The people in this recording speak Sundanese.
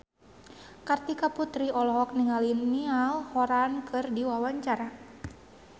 Kartika Putri olohok ningali Niall Horran keur diwawancara